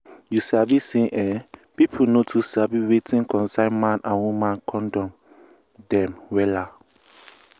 you sabi say[um]pipu no too sabi wetin concern man and woman condom dem wella.